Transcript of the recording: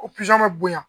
O bɛ bonya